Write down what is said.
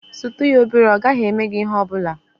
Sutu ya obere, ọ gaghị eme gị ihe ọ bụla.